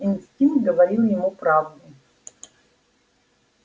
инстинкт говорил ему правду